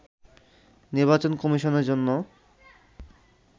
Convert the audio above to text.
নির্বাচন কমিশনের জন্য